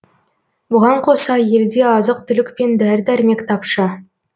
бұған қоса елде азық түлік пен дәрі дәрмек тапшы